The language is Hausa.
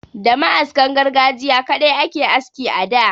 Da ma'askan gargajiya kaɗai ake aski a da.